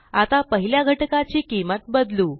आता पहिल्या घटकाची किंमत बदलू